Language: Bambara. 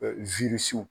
Ɛɛ